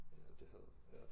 Ja det havde ja